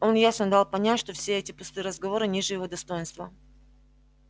он ясно дал понять что все эти пустые разговоры ниже его достоинства